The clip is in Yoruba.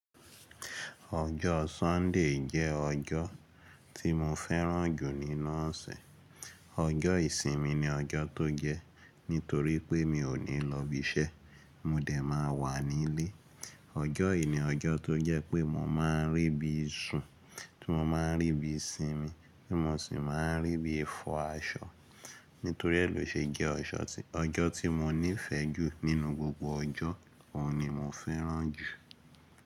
Ọjọ́ Sunday jẹ́ ọjọ́ tí mo fẹ́ràn jù nínú osé. Ọjọ́ ìsinmi ni ọjọ́ tó jẹ́ nítorí pé mi ò ní lọ ibi iṣẹ́, mo dẹ̀ máa wà nílé. Ọjọ́ yìí ni ọjọ́ tó jẹ́ pé mo máa ń rí bí i sun, tí mo máa ń rí bí i sinmi, tí mo sì máa ń rí bí i fọ aṣọ. Nítorí é lò ṣe jẹ́ ọjọ́ tí mo nífẹ̀ẹ́ jù nínú gbogbo ọjọ́, òun ni mo fẹ́ràn jù.